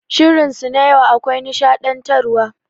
Shirin su na yau akwai nishaɗantar wa.